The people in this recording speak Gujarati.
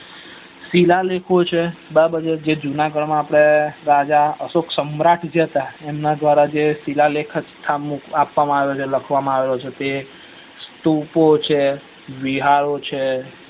સિલા લેખો છે બરાબર જે જુના ગરમા આપડે રાજા અશોક સમ્રાટ જે હતા જે એમના દ્વારા સિલા લેખો આપવા માં આવ્યા હતા લખવામાં આવ્યા તે હતા તે તો તોપો છે બીહારો છે